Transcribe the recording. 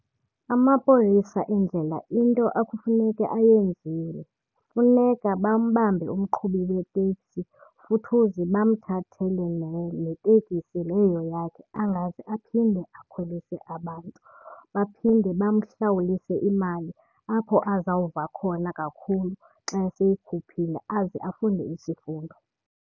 Amapolisa endlela into ekufuneke ayenzile funeka bambambe umqhubi wetekisi futhuzi bamthathele netekisi leyo yakhe angaze aphinde akhwelise abantu. Baphinde bamhlawulise imali apho azawuva khona kakhulu xa eseyikhuphile aze afunde isifundo.